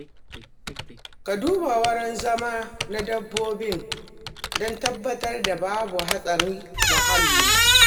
Ka duba wurin zama na dabba don tabbatar da babu haɗarin muhalli.